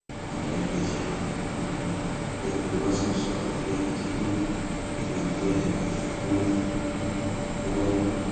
adarí iléeṣẹ náà um yomi ọmọlúwàsàn sọ eléyìí di mímọ nínú àtẹjáde kan tó um buwọ lù